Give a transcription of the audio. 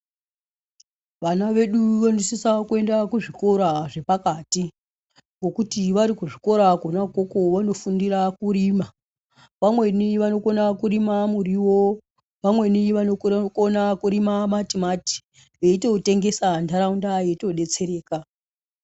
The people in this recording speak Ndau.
Vana vedu vanosisa kuenda kuzvikora zvepakati ngokuti varikuzvikora kona ukoko vanofundira kurima ,vamweni vanokona kurima muriwo ,vamweni vanokona kurima matimati ,veitotengesa nharaunda yeitodetsereka.